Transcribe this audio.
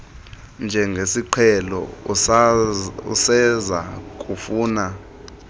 njengesiqhelo useza kufuna